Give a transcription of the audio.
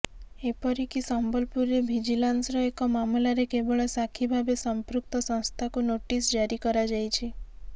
ଏପରିକି ସମ୍ବଲପୁରରେ ଭିଜିଲାନ୍ସ୍ର ଏକ ମାମଲାରେ କେବଳ ସାକ୍ଷୀ ଭାବେ ସଂପୃକ୍ତ ସଂସ୍ଥାକୁ ନୋଟିସ୍ ଜାରି କରାଯାଇଛି